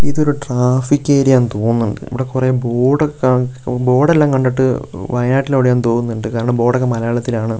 ഇതൊരു traffic area ആന്ന് തോന്നുന്നുണ്ട് ഇവിടെ കുറെ ബോർഡ് ഒക്കെ ബോർഡ് എല്ലാം കണ്ടിട്ട് വയനാട്ടിൽ എവിടെയൊ ആണെന്ന് തോന്നുന്നുണ്ട് കാരണം ബോർഡൊക്കെ മലയാളത്തിലാണ്.